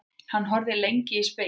Hann horfði lengi í spegilinn.